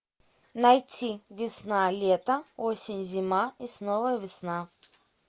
найти весна лето осень зима и снова весна